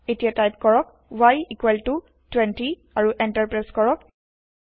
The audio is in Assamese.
এতিয়া টাইপ কৰক y20 আৰু এন্টাৰ প্ৰেছ কৰক